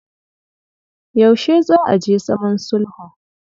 Yaushe za a je zaman sulhun?